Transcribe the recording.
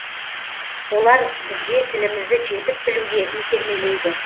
олар бізге тілімізді жетік білуге итермелейді